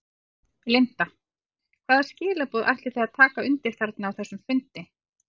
Linda: Hvaða skilaboð ætlið þið að taka undir þarna á þessum fundi?